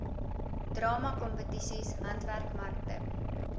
drama kompetisies handwerkmarkte